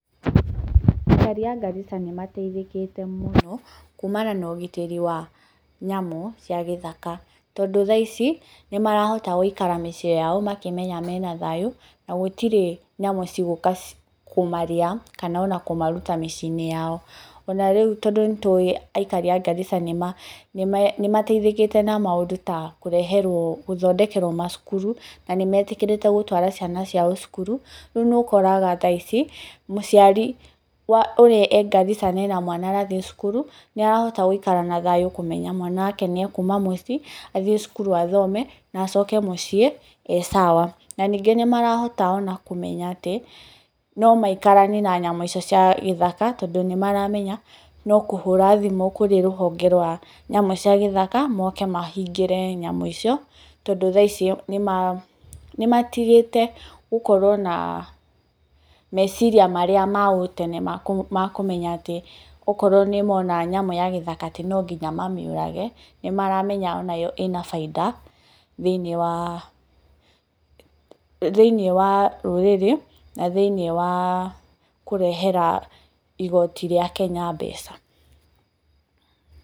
Aikari a Garissa nimateithĩkĩte mũno kumana na ũgitĩri wa nyamũ cia gĩthaka. Tondũ thaa ici nĩmarahota gũikara mĩciĩ yao makĩmenya mena thayũ, na gũtirĩ nyamũ cigũka kũmarĩa, kana ona kũmaruta mĩciĩ-inĩ yao. Ona rĩu tondũ nitũĩ aikari ya Garissa nĩmateithĩkĩte na maũndũ ta gũthondekerwo macukuru, na nĩmetĩkĩrĩte gũtwara ciana ciao cukuru. Rĩu nĩũkoraga thaa ici mũciari ũrĩa e Garissa na ena mwana arathiĩ cukuru nĩarahota gũikara na thayũ kũmenya mwana wake nĩekuma muciĩ, athiĩ cukuru athome, na acoke muciĩ ee sawa. Na ningĩ nĩmarahota ona kũmenya atĩ no maikaranie na nyamũ icio cia gĩthaka tondũ nĩmaramenya no kũhũra thimũ kurĩ rũhonge rwa nyamũ ciagĩthaka, moke mahingĩre nyamũ icio tondũ thaa ici nĩmatigĩte gũkorwo na meciria marĩa ma ũtene ma kũmenya atĩ okorwo nĩmona nyamũ ya gĩthaka atĩ no nginya mamĩũrage. Nĩ maramenya onayo ĩna baida thĩ-inĩ wa rũrĩrĩ na thĩ-inĩ wa kũrehera igoti rĩa Kenya mbeca.